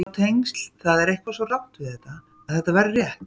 Sjá tengil Það er eitthvað svo rangt við þetta að þetta verður rétt.